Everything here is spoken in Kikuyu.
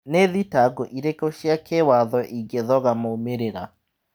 Nĩ thitango irĩkũ cia kĩwatho ingĩthoga moimĩrĩra?